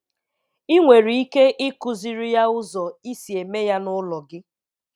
I nwere ike ikụziri ya ụzọ i si eme ya n'ụlọ gị